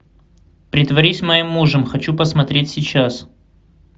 притворись моим мужем хочу посмотреть сейчас